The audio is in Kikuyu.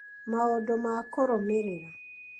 maũndũ ma kũrũmĩrĩra